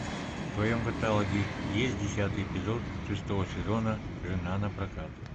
в твоем каталоге есть десятый эпизод шестого сезона жена на прокат